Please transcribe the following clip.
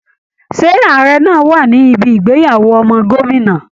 Ṣé ààrẹ náa wà níbi ìgbéyàwó ọmọ gómìnà?